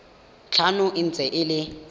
tlhano e ntse e le